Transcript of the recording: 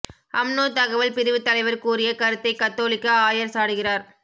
UMNO தகவல் பிரிவுத் தலைவர் கூறிய கருத்தைக் கத்தோலிக்க ஆயர் சாடுகிறார்